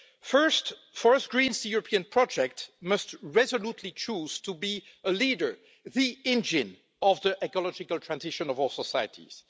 First, for us Greens the European project must resolutely choose to be a leader the engine of the ecological transition of our societies.